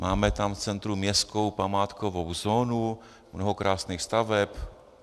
Máme tam v centru městskou památkovou zónu, mnoho krásných staveb.